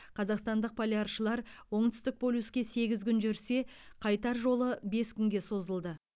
қазақстандық поляршылар оңтүстік полюске сегіз күн жүрсе қайтар жолы бес күнге созылды